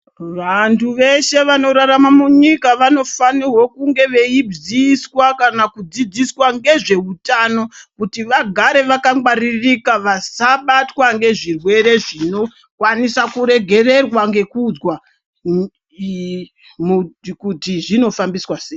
Vantu veshe vanorarama munyika, vanofanirwa kunge veyiziyiswa kana kudzidziswa ngezveutano ,kuti vagare vakangwaririka vasabatwa ngezvirwere zvinokwanisa kuregererwa ngekuudzwa iiiiimukuti zvinofambiswa seyi.